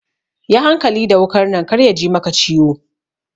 Yi hankali da wukar nan kar yaji maka ciwo.